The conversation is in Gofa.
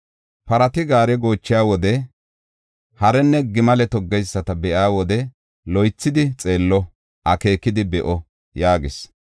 Parati gaare goochiya wode, harenne gimale toggeyisata be7iya wode, loythidi xeello; akeekidi be7o” yaagis.